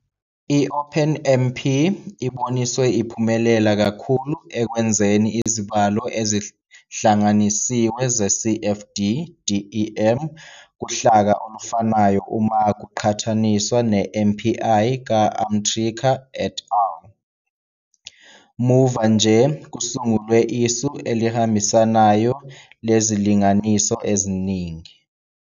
I-OpenMP iboniswe iphumelela kakhulu ekwenzeni izibalo ezihlanganisiwe ze-CFD-DEM kuhlaka olufanayo uma kuqhathaniswa ne- MPI ka-Amritkar et al. Muva nje, kusungulwe isu elihambisanayo lezilinganiso eziningi.